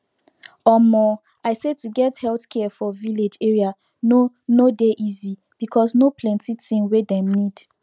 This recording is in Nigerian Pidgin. omo i say to get healthcare for village area no no dey easy because no plenti thing wey dem need